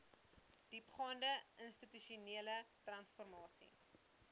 diepgaande institusionele transformasie